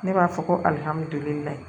Ne b'a fɔ ko